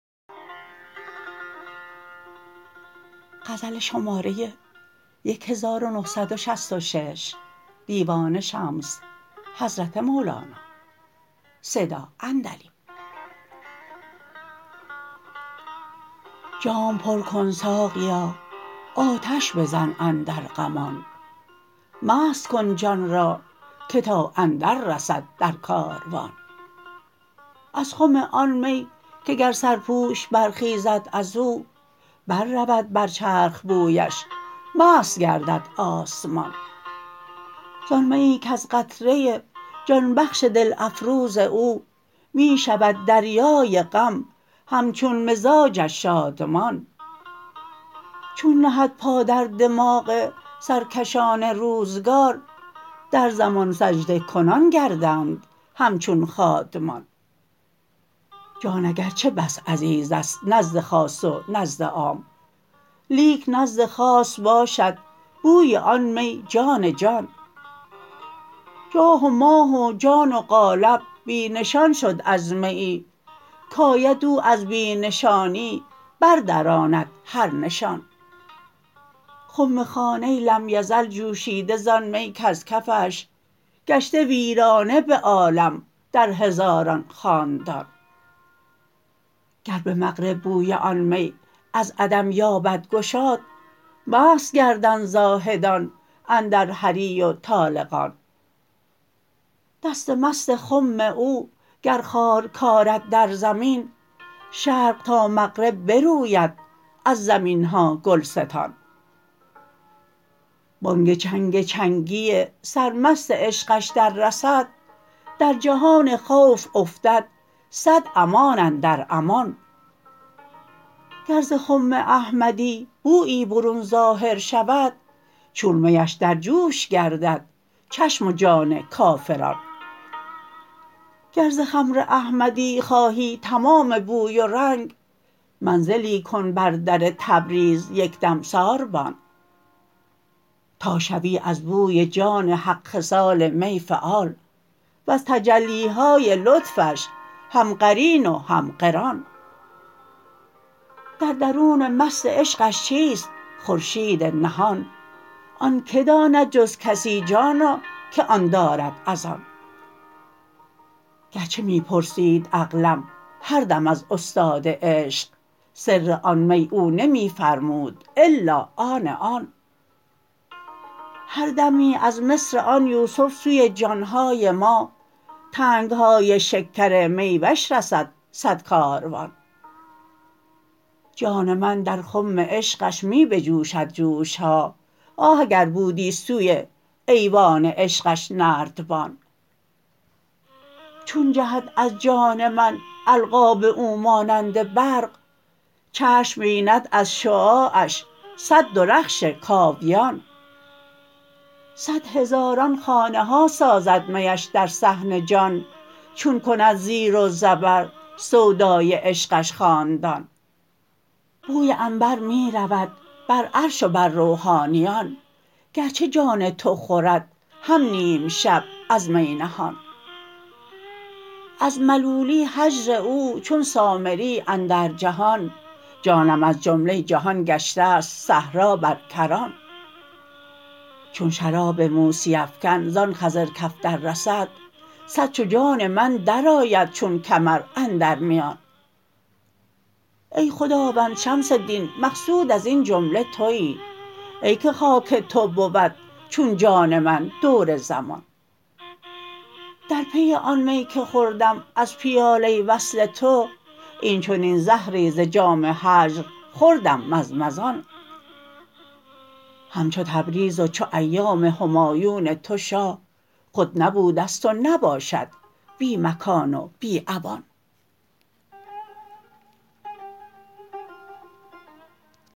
جام پر کن ساقیا آتش بزن اندر غمان مست کن جان را که تا اندررسد در کاروان از خم آن می که گر سرپوش برخیزد از او بررود بر چرخ بویش مست گردد آسمان زان میی کز قطره جان بخش دل افروز او می شود دریای غم همچون مزاجش شادمان چون نهد پا در دماغ سرکشان روزگار در زمان سجده کنان گردند همچون خادمان جان اگرچه بس عزیز است نزد خاص و نزد عام لیک نزد خاص باشد بوی آن می جان جان جان و ماه و جان و قالب بی نشان شد از میی کید او از بی نشانی بردراند هر نشان خمخانه لم یزل جوشیده زان می کز کفش گشته ویرانه به عالم در هزاران خاندان گر به مغرب بوی آن می از عدم یابد گشاد مست گردند زاهدان اندر هری و طالقان دست مست خم او گر خار کارد در زمین شرق تا مغرب بروید از زمین ها گلستان بانگ چنگ چنگی سرمست عشقش دررسد در جهان خوف افتد صد امان اندر امان گر ز خم احمدی بویی برون ظاهر شود چون میش در جوش گردد چشم و جان کافران گر ز خمر احمدی خواهی تمام بوی و رنگ منزلی کن بر در تبریز یک دم ساربان تا شوی از بوی جان حق خصال می فعال وز تجلی های لطفش هم قرین و هم قران در درون مست عشقش چیست خورشید نهان آن که داند جز کسی جانا که آن دارد از آن گرچه می پرسید عقلم هر دم از استاد عشق سر آن می او نمی فرمود الا آن آن هر دمی از مصر آن یوسف سوی جان های ما تنگ های شکر می وش رسد صد کاروان جان من در خم عشقش می بجوشد جوش ها آه اگر بودی سوی ایوان عشقش نردبان چون جهد از جان من القاب او مانند برق چشم بیند از شعاعش صد درخش کاویان صد هزاران خانه ها سازد میش در صحن جان چون کند زیر و زبر سودای عشقش خاندان بوی عنبر می رود بر عرش و بر روحانیان گرچه جان تو خورد هم نیم شب از می نهان از ملولی هجر او چون سامری اندر جهان جانم از جمله جهان گشته ست صحرا بر کران چون شراب موسی افکن زان خضر کف دررسد صد چو جان من درآید چون کمر اندر میان ای خداوند شمس دین مقصود از این جمله توی ای که خاک تو بود چون جان من دور زمان در پی آن می که خوردم از پیاله وصل تو این چنین زهرت ز جام هجر خوردم مزمزان همچو تبریز و چو ایام همایون تو شاه خود نبوده ست و نباشد بی مکان و بی اوان